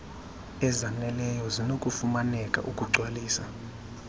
ezzaneleyo zinokufumaneka ukugcwalisa